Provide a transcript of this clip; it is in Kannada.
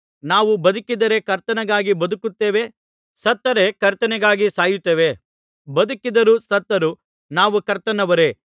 ನಾವು ಬದುಕಿದರೆ ಕರ್ತನಿಗಾಗಿ ಬದುಕುತ್ತೇವೆ ಸತ್ತರೆ ಕರ್ತನಿಗಾಗಿ ಸಾಯುತ್ತೇವೆ ಬದುಕಿದರೂ ಸತ್ತರೂ ನಾವು ಕರ್ತನವರೇ